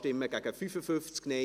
Imboden, Bern [Grüne])